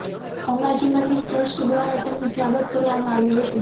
અંબાજી મંદિર ટ્રસ્ટ દ્વારા તેમનું સ્વાગત કરવામાં આવ્યું હતું